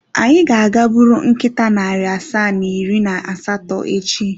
Anyị ga-aga buru nkịta narị asaa na iri na asatọ echi.